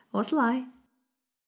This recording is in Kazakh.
осылай